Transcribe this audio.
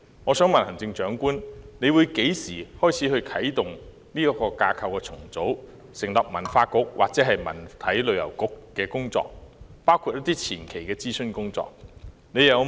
我想問行政長官何時會啟動這項架構重組的工作，成立文化局或文體旅遊局，包括一些前期的諮詢工作？